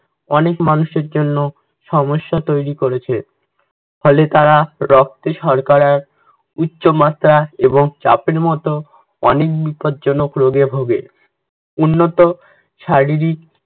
অনেক মানুষের জন্য সমস্যা তৈরী করেছে, ফলে তারা রক্তে শর্করার উচ্চ মাত্রা এবং চাপের মতো অনেক বিপদজনক রোগে ভোগে। উন্নত শারীরিক